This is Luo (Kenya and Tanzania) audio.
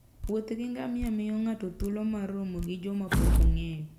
Wuoth gi ngamia miyo ng'ato thuolo mar romo gi joma pok ong'eyo.